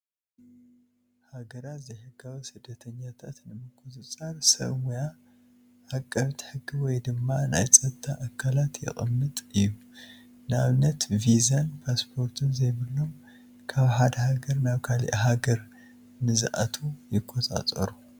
ሃገራት ዘይሕጋዊ ስደተኛታት ንምቁፃር ሰብ ሞያ ኣቐብቲ ሕጊ ወይ ድማ ናይ ፀጥታ ኣካላት የቐምጥ እዩ፡፡ ንኣብነት ቪዛን ፓስፖርትን ዘይብሎም ካብ ሓደ ሃገር ናብ ካሊእ ሃገር ንዝኣትው ይቆፃፀሩ፡፡